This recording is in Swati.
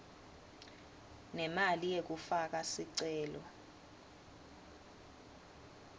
nemali yekufaka sicelo